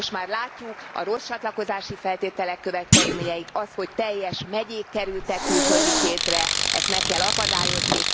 Most már látjuk a rossz csatlakozási feltételek következményeit, azt, hogy teljes megyék kerültek külföldi kézre ezt meg kell akadályozni.